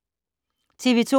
TV 2